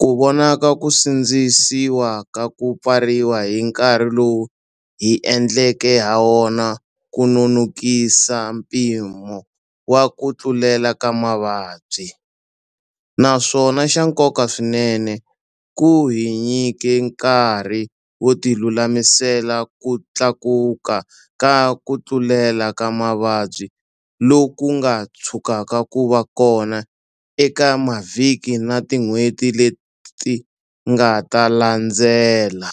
ku vona ku sindzisiwa ka ku pfariwa hi nkarhi lowu hi endleke hawona ku nonokise mpimo wa ku tlulela ka mavabyi, naswona xa nkoka swinene, ku hi nyike nkarhi wo tilulamisela ku tlakuka ka ku tlulela ka mavabyi loku nga tshukaka ku va kona eka mavhiki na tin'hweti leti nga ta landzela.